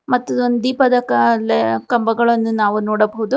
ಮತ್ತು ದೀಪದ ಕಂಬಗಳನ್ನು ನಾವು ನೋಡಬಹುದು.